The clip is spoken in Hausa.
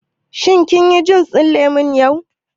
Shin kin yi jus ɗin lemu yau?